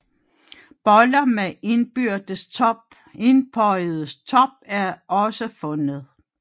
Boller med indbøjet top er også fundet